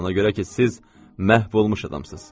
Ona görə ki, siz məhv olmuş adamsınız.